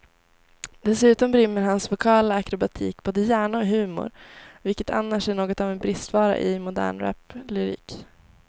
Dessutom rymmer hans vokala akrobatik både hjärna och humor, vilket annars är något av en bristvara i modern raplyrik.